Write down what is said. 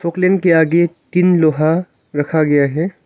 Poclain के आगे तीन लोहा रखा गया है।